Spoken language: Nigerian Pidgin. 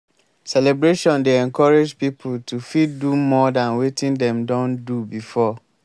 celebration dey encourage pipo to fit do more than wetin dem don do before